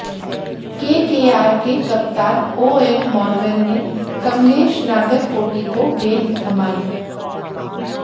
KKR के कप्तान Eoin Morgan ने कमलेश नागरकोटी को गेंद थमाई